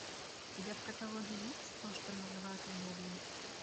у тебя в каталоге есть то что называют любовью